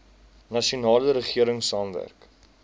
nasionale regering saamwerk